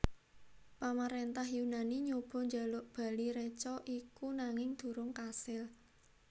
Pamaréntah Yunani nyoba njaluk bali reca iku nanging durung kasil